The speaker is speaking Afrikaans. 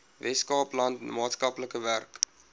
weskaapland maatskaplike werk